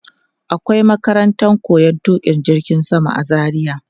Akwai makarantar koyon tuƙa jirgin sama a Zaria.